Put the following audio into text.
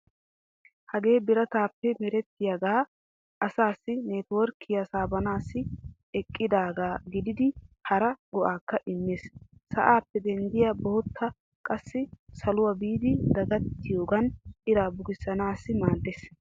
Hagee birataape merettiyogan asaassi neteworkkiyaa saabanaassi eqqidaaga gidiidddi hara go'aakka immees. sa'aappe denddiya boottay qassi saluwaa biidi dagattiyogan iraa bukissanaassi maaddeees